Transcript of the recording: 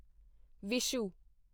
Vishu